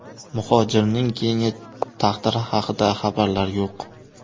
Muhojirning keyingi taqdiri haqida xabarlar yo‘q.